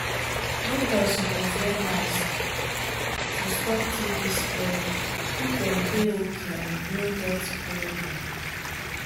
doctors suppose wear mask to stop tb spread make dem dey okay and no get problem.